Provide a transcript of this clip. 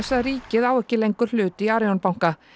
að ríkið á ekki lengur hlut í Arion banka